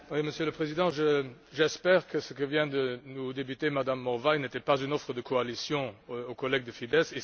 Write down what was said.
Monsieur le Président, j'espère que ce que vient de nous débiter Mme Morvai n'était pas une offre de coalition faite aux collègues de Fidesz.